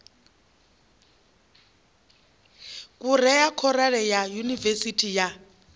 korea khorale ya yunivesithi ya